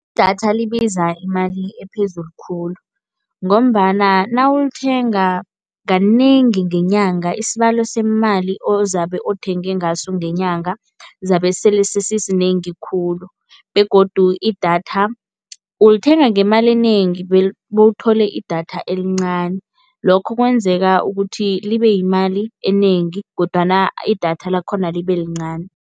Idatha libiza imali ephezulu khulu ngombana nawulithenga kanengi ngenyanga, isibalo semali ozabe othenge ngaso ngenyanga zabe sele sesisinengi khulu. Begodu idatha ulithenga ngemali enengi bewuthole idatha elincani, lokho kwenzeka ukuthi libeyimali enengi kodwana idatha lakhona libelincani.